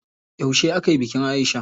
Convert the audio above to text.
Yauce akayi bikin Aisha?